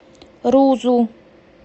рузу